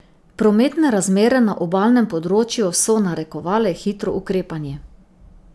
Prometne razmere na obalnem področju so narekovale hitro ukrepanje.